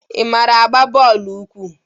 Ị mara igba bọọlụ ụkwụ?